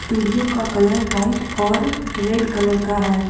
Studio का colour white और red colour का है।